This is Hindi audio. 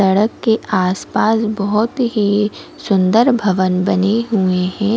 सड़क के आसपास बहुत ही सुंदर भवन बने हुए हैं ।